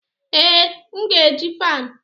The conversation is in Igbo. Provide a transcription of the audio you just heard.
Ee, m ga-eji fan